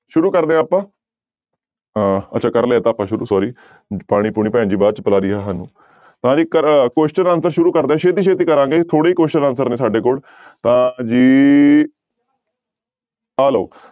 ਸ਼ੁਰੂ ਕਰਦੇ ਹਾਂ ਆਪਾਂ ਅਹ ਅੱਛਾ ਕਰ ਲਿਆ ਇਹ ਤਾਂ ਆਪਾਂ ਸ਼ੁਰੂ sorry ਪਾਣੀ ਪੂਣੀ ਭੈਣ ਜੀ ਬਾਅਦ ਚ ਪਿਲਾ ਰਹੀ ਆ ਸਾਨੂੰ ਤਾਂ ਜੀ ਕ question answer ਸ਼ੁਰੂ ਕਰਦੇ ਹਾਂ ਛੇਤੀ ਛੇਤੀ ਕਰਾਂਗੇ ਥੋੜ੍ਹੇ question answer ਨੇ ਸਾਡੇ ਕੋਲ ਤਾਂ ਜੀ ਆਹ ਲਓ